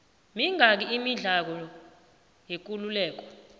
mingaki imidlalo yekuleleko